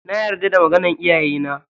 Na yarda da maganan iyayena.